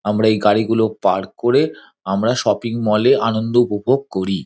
আমরা এই গাড়ি গুলো পার্ক করে আমরা শপিং মলে আনন্দ উপভোগ করি।